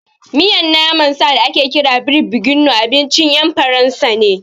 Miyan naman sa da ake kira beef bourguignon abincin ƴan Faransa ne